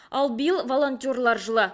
ал биыл волонтерлар жылы